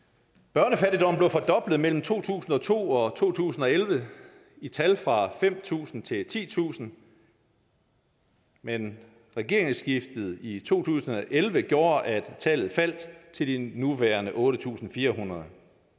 børnefattigdommen blev fordoblet mellem to tusind og to og to tusind og elleve i tal fra fem tusind til titusind men regeringsskiftet i to tusind og elleve gjorde at tallet fald til de nuværende otte tusind fire hundrede